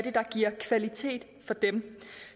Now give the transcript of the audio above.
er der giver kvalitet for dem